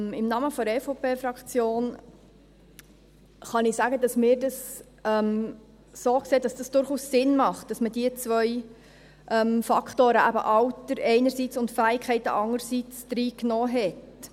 Im Namen der EVP-Fraktion kann ich sagen, dass wir es so sehen, dass es durchaus Sinn macht, dass man diese beiden Faktoren, eben Alter einerseits und Fähigkeiten andererseits, reingenommen hat.